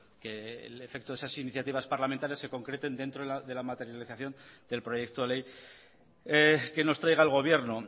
que el efecto de esas iniciativas parlamentarias se concreten dentro de la materialización del proyecto de ley que nos traiga el gobierno